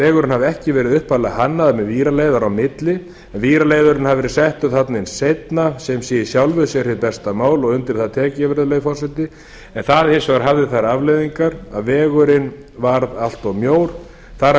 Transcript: vegurinn hafi ekki verið upphaflega hannaður með víraleiðara á milli en víraleiðarinn hafi verið settur þarna seinna sem sé í sjálfu sér hið besta mál og undir það tek ég virðulegi forseti en það hins vegar hafði þær afleiðingar að vegurinn varð allt of mjór þar af